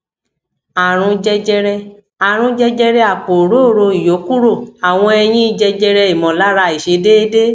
àrùn jẹjẹrẹ àrùn jẹjẹrẹ apo orooro iyokuro àwọn eyin jẹjẹre imolara aisedede